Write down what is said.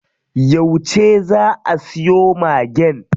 Yauce zaa a siyo Magen?